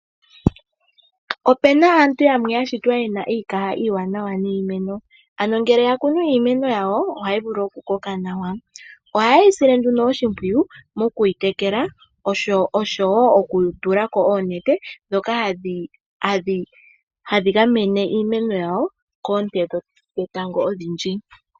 Opena aantu yamwe ya shitwa yena iikaha iiwanawa niimeno, ano ngele ya kunu iimeno yawo ohayi vulu oku koka nawa. Oha yeyei sile nduno oshimpwiyu mo kuyi tekela osho wo oku tulako oonete dhoka hadhi gamene iimeno yawo koonte dhetango odhindji.